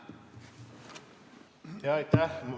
Aitäh!